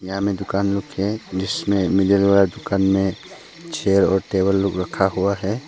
यहां में दुकान लोग हैं जिसमे मिडल वाला दुकान में चेयर और टेबल लोग रखा हुआ है।